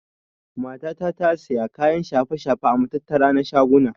Mata ta tasiya kayan shafe-shafe a matattara na shaguna.